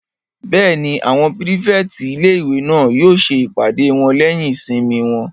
Bẹ́ẹ̀ni, àwọn pírífẹ̀tì ilé-ìwé náà yóò ṣe ìpàdé wọn lẹ́yìn ìsinmi wọn